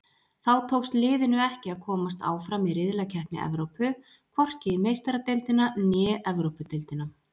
Þá tókst liðinu ekki að komast áfram í riðlakeppni Evrópu, hvorki í Meistaradeildina né Evrópudeildina.